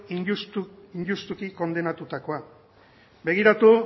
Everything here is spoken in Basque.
injustutik kondenatutakoa begiratu